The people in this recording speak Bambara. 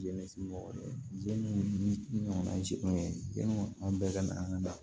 ni ɲɔgɔnna ye sikun ye yanni an bɛɛ ka na an ka da